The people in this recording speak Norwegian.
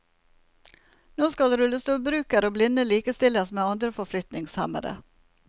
Nå skal rullestolbrukere og blinde likestilles med andre forflytningshemmede.